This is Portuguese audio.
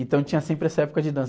Então tinha sempre essa época de dança.